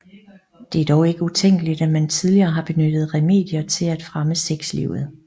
Det er dog ikke utænkeligt at man tidligere har benyttet remedier til at fremme sexlivet